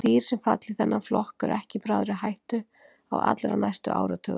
Dýr sem falla í þennan flokk eru ekki í bráðri hættu á allra næstu áratugum.